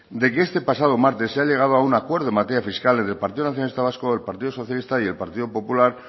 de que este pasado martes se ha llegado a un acuerdo en materia fiscal entre el partido nacionalista vasco el partido socialista y el partido popular